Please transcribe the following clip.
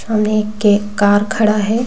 सामने एक कार खड़ा है।